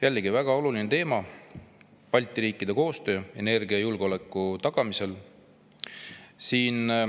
Jällegi väga oluline teema: Balti riikide koostöö energiajulgeoleku tagamisel.